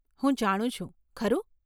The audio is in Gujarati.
હું જાણું છું, ખરું?